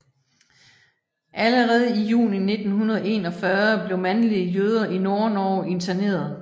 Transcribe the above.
Allerede i juni 1941 blev mandlige jøder i Nordnorge interneret